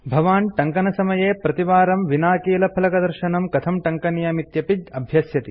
भवान् टङ्कनसमये प्रतिवारं विनाकीलफलकदर्शनं कथं टङ्कनीयमित्यपि अभ्यस्यति